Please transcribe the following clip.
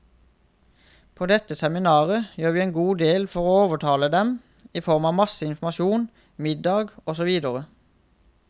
På dette seminaret gjør vi en god del for å overtale dem, i form av masse informasjon, middag og så videre.